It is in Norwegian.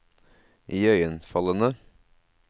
iøynefallende